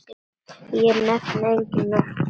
Ég nefni engin nöfn.